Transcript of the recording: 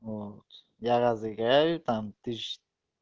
вот я разыграю там тысяч